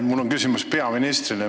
Mul on küsimus peaministrile.